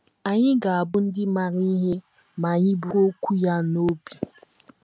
Anyị ga - abụ ndị maara ihe ma anyị buru okwu ya a n’obi.